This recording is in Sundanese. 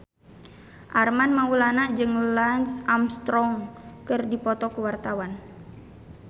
Armand Maulana jeung Lance Armstrong keur dipoto ku wartawan